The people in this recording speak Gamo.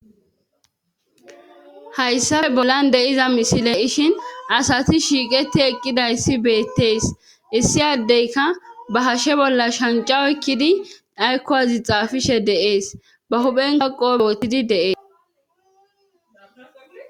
hayssafe bollan deiza misile ishin asati shiiqeti eqqidayssi beettees issi yaddeyka ba hashe bolla shancao ekkidi dhaykowazi xaafishe deees ba huphen kaqo boottidi deees